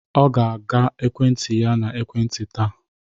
Ọ ga-aga ekwentị ya na ekwentị taa